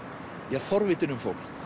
ja forvitin um fólk